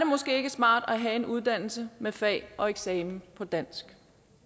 måske ikke smart at have en uddannelse med fag og eksamen på dansk